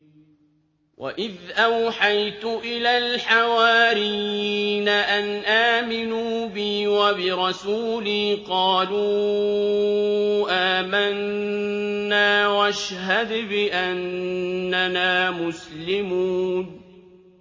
وَإِذْ أَوْحَيْتُ إِلَى الْحَوَارِيِّينَ أَنْ آمِنُوا بِي وَبِرَسُولِي قَالُوا آمَنَّا وَاشْهَدْ بِأَنَّنَا مُسْلِمُونَ